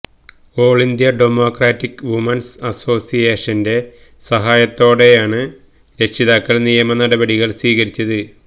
ഓള് India democratic women's അസോസിയേഷന്റെ സഹായത്തോടെയാണ് രക്ഷിതാക്കള് നിയമ നടപടികള് സ്വീകരിച്ചത്